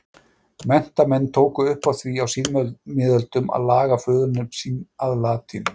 Menntamenn tóku upp á því á síðmiðöldum að laga föðurnöfn sín að latínu.